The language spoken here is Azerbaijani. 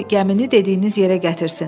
Qoy gəmini dediyiniz yerə gətirsin.